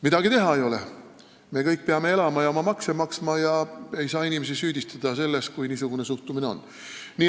Midagi teha ei ole, me kõik peame elama ja oma makse maksma ja ei saa inimesi süüdistada selles, kui niisugune suhtumine on.